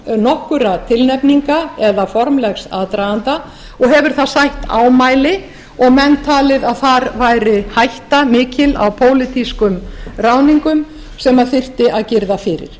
áðan nokkurra tilnefninga eða formlegs aðdraganda og hefur það sætt ámæli og menn talið að þar væri hætta mikil á pólitískum ráðningum sem þyrfti að girða fyrir